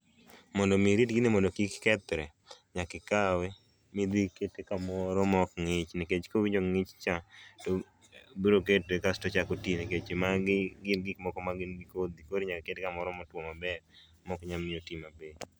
Mondo mi irit gini mondo kik kethre, nyaki kawe midhi ikete kamoro mok ng'ich nikech kowinjo ng'ich cha to bro kete kasto ochako tii nikech magi gin gik moko ma gin gi kodhi koro inyalo ket kamoro motwo maber mok nya miyo otii mapiyo